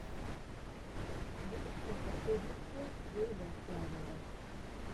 запускай последнюю часть гейба флавера